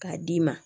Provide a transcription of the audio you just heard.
K'a d'i ma